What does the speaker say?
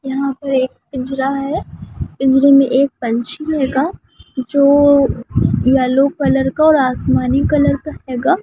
यहाँ पर एक पिंजरा है पिंजरे में एक पंछी रहेगा जो येलो कलर का और आसमानी कलर का हेगा।